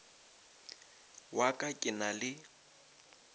wa ka ke na le